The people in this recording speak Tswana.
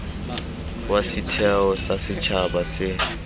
wa setheo sa setšhaba se